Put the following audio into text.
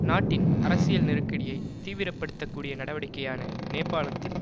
நாட்டின் அரசியல் நெருக்கடியை தீவிரப்படுத்தக்கூடிய நடவடிக்கையான நேபாளத்தின்